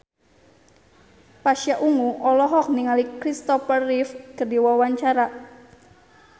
Pasha Ungu olohok ningali Christopher Reeve keur diwawancara